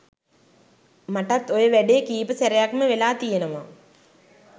මටත් ඔය වැඩේ කීප සැරයක්ම වෙලා තියෙනවා